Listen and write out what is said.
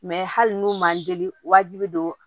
Mɛ hali n'u man deli wajibi don